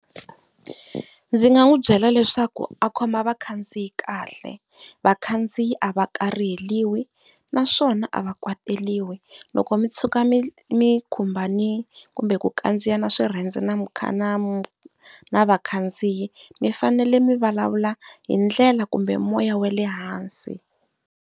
Ndzi nga n'wi byela leswaku a khoma vakhandziyi kahle. Vakhandziyi a va kariheliwi naswona a va kwateliwi. Loko mi tshuka mi mi khumbanile kumbe ku kandziyana swirhendze na na na vakhandziyi mi fanele mi vulavula hi ndlela kumbe hi moya wa le hansi.